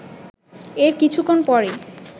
এর কিছুক্ষন পরই